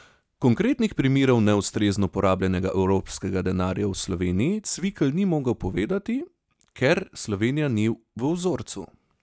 Konkretnih primerov neustrezno porabljenega evropskega denarja v Sloveniji Cvikl ni mogel povedati, ker Slovenija ni v vzorcu.